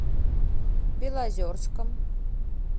белозерском